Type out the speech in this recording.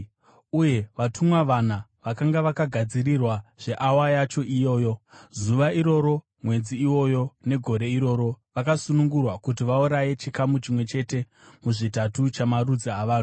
Uye vatumwa vana vakanga vakagadzirirwa zveawa yacho iyoyo, zuva iroro, mwedzi iwoyo, negore iroro, vakasunungurwa kuti vauraye chikamu chimwe chete muzvitatu chamarudzi avanhu.